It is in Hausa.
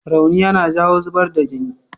Rauni yana jawo zubar da jini.